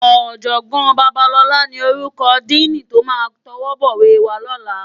Òjògbòn Babalola ni órúkò dìní tó má tòwòbòwé wá lòlá